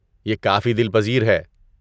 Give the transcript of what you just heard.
یہ کافی دل پذیر ہے۔